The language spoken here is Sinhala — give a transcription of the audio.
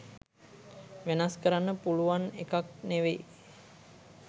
වෙනස් කරන්න පුළුවන් එකක් නෙවෙයි.